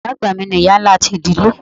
Iya àgbà mi ni iya ńlá ti idile.